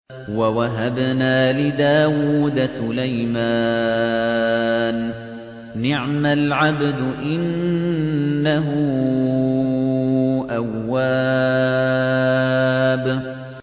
وَوَهَبْنَا لِدَاوُودَ سُلَيْمَانَ ۚ نِعْمَ الْعَبْدُ ۖ إِنَّهُ أَوَّابٌ